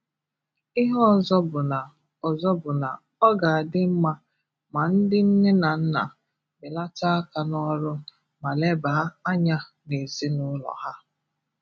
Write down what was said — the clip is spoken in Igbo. Ihe ọzọ bụ na ọzọ bụ na ọ ga-adị mmà ma ndị nne na nna belàtà àkà n’ọ̀rụ̣ ma lèbà ànyà n’ezinụlọ ha.